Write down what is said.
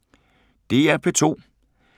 DR P2